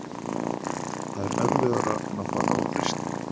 Það er erfiðara en að fara á fyrsta